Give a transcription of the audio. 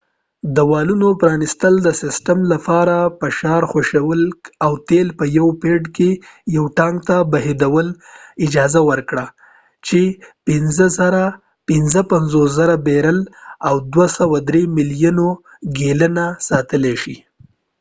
د والونو پرانستل د سیسټم لپاره د فشار خوشي کول او تیل په یوه پیډ کې یو ټانک ته بهیدو ته اجازه ورکړه چې ۵۵،۰۰۰ بیرل ۲.۳ ملیون ګیلنه ساتلی شي